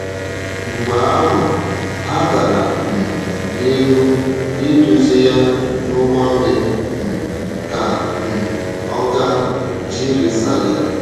Mgbe ahụ, ha gara um n’ihu iduzi ya n’ụgbọ mmiri um ka um ọ gaa Jirisalem.